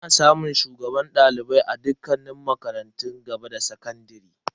Ana samun shugaban dalibai na aji a dukkanin makarantun gaba da sakandare.